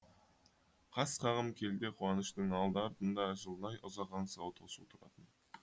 қас қағым келте қуаныштың алды артында жылдай ұзақ аңсау тосу тұратын